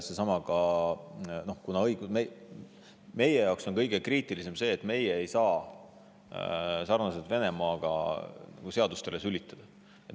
Meie jaoks on kõige kriitilisem see, et me ei saa Venemaaga sarnaselt seadustele sülitada.